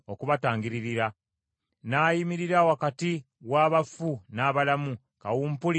n’ayimirira wakati w’abafu n’abalamu, kawumpuli n’aziyizibwa.